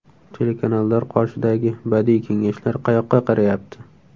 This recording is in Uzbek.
Telekanallar qoshidagi badiiy kengashlar qayoqqa qarayapti?